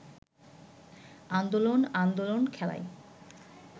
আন্দোলন আন্দোলন খেলায়